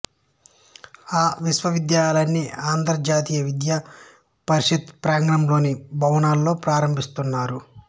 ఆ విశ్వవిద్యాలయాన్ని ఆంధ్ర జాతీయ విద్యా పరిషత్ ప్రాంగణంలోని భవనాలలో ప్రారంభిస్తున్నారు